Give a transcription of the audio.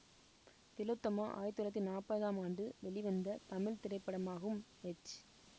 திலோத்தமா ஆயிரத்தி தொள்ளாயிரத்தி நாற்பதாம் ஆண்டு வெளிவந்த தமிழ் திரைப்படமாகும் எச்